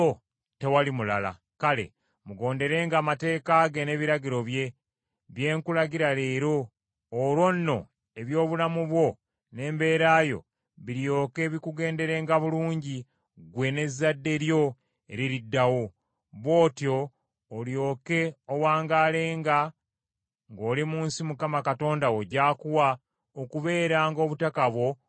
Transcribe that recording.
Kale, mugonderenga amateeka ge n’ebiragiro bye, bye nkulagira leero; olwo nno eby’obulamu bwo n’embeera yo biryoke bikugenderenga bulungi, ggwe n’ezzadde lyo eririddawo; bw’otyo olyoke owangaalenga ng’oli mu nsi Mukama Katonda wo gy’akuwa okubeeranga obutaka bwo obw’enkalakkalira.”